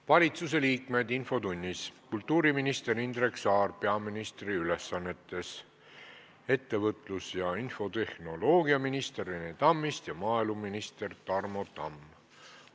Valitsusliikmed infotunnis: kultuuriminister Indrek Saar peaministri ülesannetes, ettevõtlus- ja infotehnoloogiaminister Rene Tammist ja maaeluminister Tarmo Tamm.